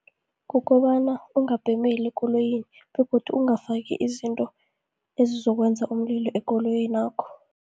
Kukobana ungabhemeli ekoloyini, begodu ongafaki izinto ezizokwenza umlilo ekoloyinakho.